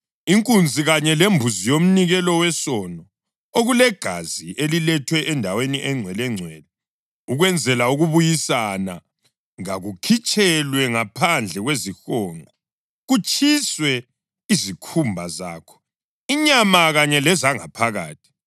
Inkunzi kanye lembuzi yomnikelo wesono, okulegazi elilethwe endaweni eNgcwelengcwele ukwenzela ukubuyisana, kakukhitshelwe ngaphandle kwezihonqo; kutshiswe izikhumba zakho, inyama kanye lezangaphakathi.